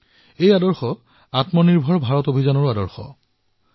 এই চিন্তাধাৰাই আত্মনিৰ্ভৰ ভাৰতৰ অভিযান হিচাপে সিদ্ধ হৈ উঠিছে